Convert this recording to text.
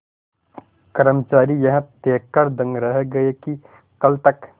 कर्मचारी यह देखकर दंग रह गए कि कल तक